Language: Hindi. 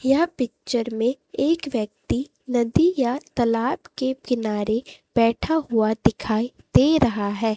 यह पिक्चर में एक व्यक्ति नदी या तलाब के किनारे बैठा हुआ दिखाई दे रहा है।